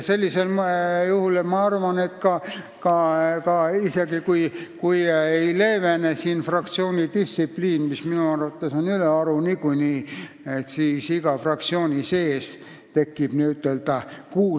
Sellisel juhul, ma arvan, isegi siis, kui ei leevene fraktsioonidistsipliin, mis minu arvates on niikuinii ülearu tugev, tekib iga fraktsiooni sees kuus alarühma.